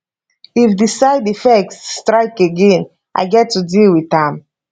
if di side effects strike again i get to deal with am